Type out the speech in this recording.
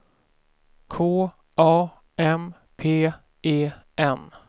K A M P E N